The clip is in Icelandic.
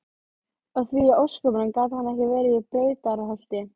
Og því í ósköpunum gat hann ekki verið í Brautarholti?